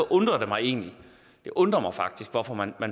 undrer det mig egentlig det undrer mig faktisk hvorfor man